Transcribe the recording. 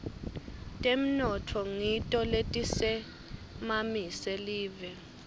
temnotfo ngito letisimamise live